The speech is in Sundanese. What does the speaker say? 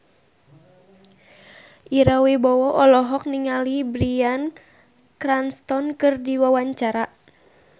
Ira Wibowo olohok ningali Bryan Cranston keur diwawancara